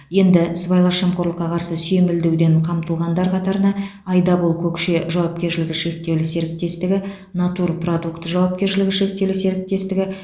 енді сыбайлас жемқорлыққа қарсы сүйемелдеуден қамтылғандар қатарына айдабол көкше жауапкершілігі шектеулі серіктестігі натур продукт жауапкершілігі шектеулі серіктестігі